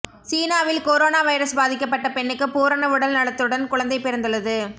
சீனாவில் corona virus பாதிக்கப்பட்ட பெண்ணுக்கு பூரண உடல் நலத்துடன் குழந்தை பிறந்துள்ளது